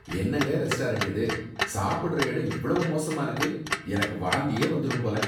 என்னங்க ரெஸ்டாரண்ட் இது! சாப்பிடுற இடம் இவ்வளவு மோசமா இருக்கு, எனக்கு வாந்தியே வந்துரும் போல.